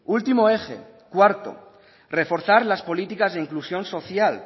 último eje cuarto reforzar las políticas de inclusión social